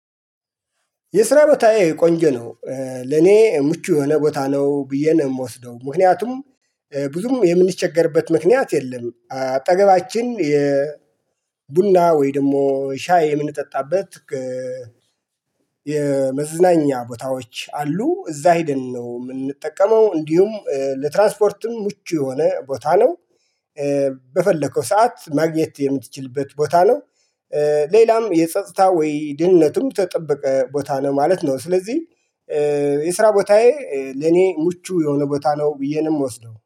የስራ ቦታዬ ቆንጆ ነው። ለኔ ምቹ የሆነ ቦታ ነው ብዬ ነው የምወስደው ምክንያቱም ብዙም የምንቸገርበት ምክንያት የለም። አጠገባችን የቡና ወይ ደግሞ ሻይ የምንጠጣበት። የመዝናኛ ቦታዎች አሉ እዛ ሄደን ነው የምንጠቀመው እንዲሁም ለትራንስፖርትም ምቹ የሆነ ቦታ ነው። በፈለከው ሰዓት ማግኘት የምትችልበት ቦታ ነው። ሌላም የጸጥታ ወይ ደንነቱም ተጠብቀ ቦታ ነው ማለት ነው። ስለዚህ የስራ ቦታዬ ለኔ ሙቹ የሆነ ቦታ ነው ብዬ ነው ምወስደው